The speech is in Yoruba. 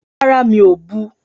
Rárá, mi ò bu.